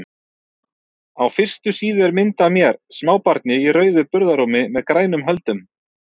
Á fyrstu síðu er mynd af mér, smábarni í rauðu burðarrúmi með grænum höldum.